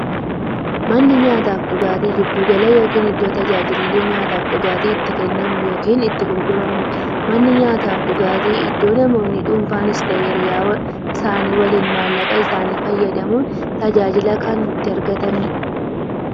Manni nyaataafi dhugaatii giddu gala yookiin iddoo taajilli nyaataafi dhugaatii itti kennamu yookiin itti gurguramuudha. Manni nyaataafi dhugaatii iddoo namoonni dhunfanis ta'ee hiriyyaa isaanii waliin maallaqa isaanii fayyadamuun tajaajila kana itti argataniidha.